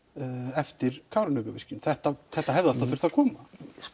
eftir Kárahnjúkavirkjun þetta þetta hefði alltaf þurft að koma